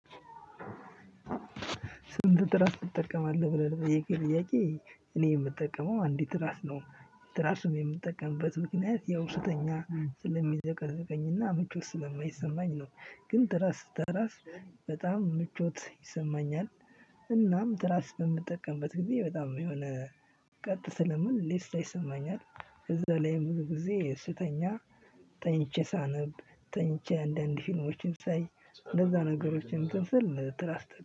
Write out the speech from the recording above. ስንት ትራስ እጠቀማለሁ ብለህ ለጠየከኝ ጥያቄ እኔ የምጠቀመው አንዲት ትራስ ነው። ትራሱን የምጠቀምበት ምክንያት ያው ስተኛ ስለሚዘቀዝቀኝና ምቹ ስለማይሰማኝ ነው። ግን ትራስ ስተራስ በጣም ምቾት ይሰማኛል። እናም ትራስ በምጠቀምበት ጊዜ በጣም የሆነ ቀጥ ስለምል ሌስት ይሰማኛል። ከዛ ላይ ሙሉ ጊዜ ስተኛ ተኝቼ ሳነብ ተኝቼ አንዳንድ ፊልሞችን ሳይ እንደዛ ነገሮችን እትንስል ትራስት